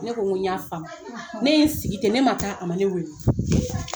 Ne ko ko n y'a faamu ne ye n sigi te ne ma taa a ma ne wele